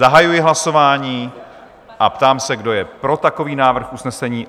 Zahajuji hlasování a ptám se, kdo je pro takový návrh usnesení?